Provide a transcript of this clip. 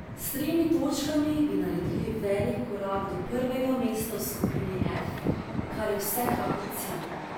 S tremi točkami bi naredili velik korak do prvega mesta v skupini F, kar je vsekakor cilj.